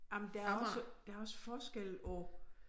Jamen der er også der er også forskel på